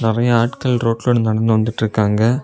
நெறயா ஆட்கள் ரோட்ல நடந்து வந்துட்டு இருக்காங்க.